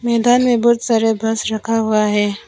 मैदान में बहुत सारे बस रखा हुआ है।